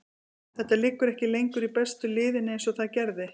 Þetta liggur ekki lengur í bestu liðin eins og það gerði.